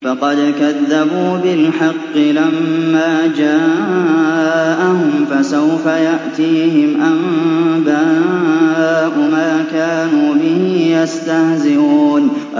فَقَدْ كَذَّبُوا بِالْحَقِّ لَمَّا جَاءَهُمْ ۖ فَسَوْفَ يَأْتِيهِمْ أَنبَاءُ مَا كَانُوا بِهِ يَسْتَهْزِئُونَ